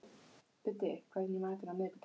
Biddi, hvað er í matinn á miðvikudaginn?